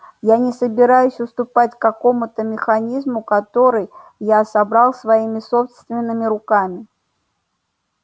я не собираюсь уступать какому-то механизму который я собрал своими собственными руками